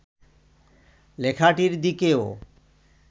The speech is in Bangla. লেখাটির দিকে ও